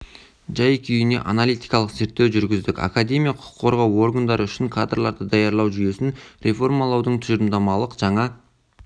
тәжірибесін зерттедік олардың талаптары тым қатал екені белгілі сонымен қоса отандық заңгерлік білім берудің қазіргі